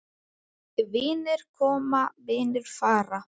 Vinir koma, vinir fara.